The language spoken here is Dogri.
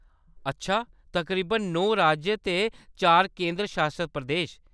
अच्छा, तकरीबन नौ राज्य ते चार केंदर शासत प्रदेश।